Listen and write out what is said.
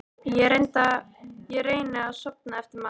Ég reyni að sofna eftir matinn.